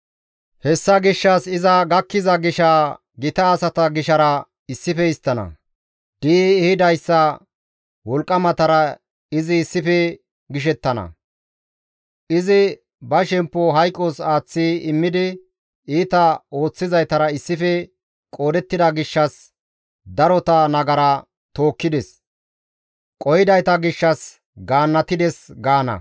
Hessa gishshas iza gakkiza gisha gita asata gishara issife histtana; di7i ehidayssa wolqqamatara izi issife gishettana; izi ba shemppo hayqos aaththi immidi, iita ooththizaytara issife qoodettida gishshas, darota nagara tookkides; qohidayta gishshas gaannatides» gaana.